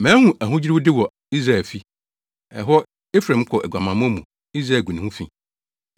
Mahu ahodwiriwde wɔ Israelfi. Ɛhɔ, Efraim kɔ aguamammɔ mu Israel gu ne ho fi.